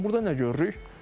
Amma burda nə görürük?